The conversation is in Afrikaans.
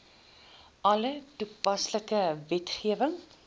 alle toepaslike wetgewing